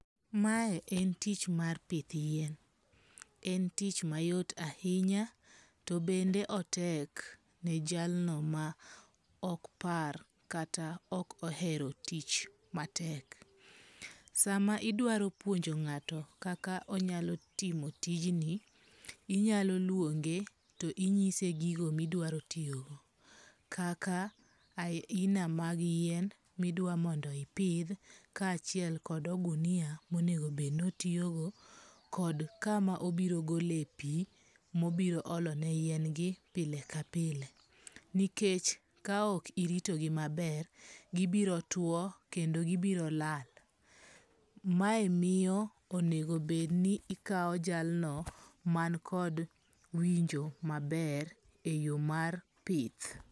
Mae en tich mar pith yien. En tich mayot ahinya to bende otek ne jalno ma ok par kata ok ohero tich matek. Sama idwaro puonjo ng'ato kaka onyalo timo tijni, inyalo luonge to inyise gigo midwaro tiyogo. Kaka aina mag yien midwa mondo ipidh ka achiel kod ogunia monego bed ni otiyogo kod kama obiro gole pi mobiro ole ne yien gi pile ka pile. Nikech ka ok iritogi maber, gibiro two kendo gibiro lala. Mae miyo onego bed ni ikawo jalno man kod winjo maber e yo mar pith.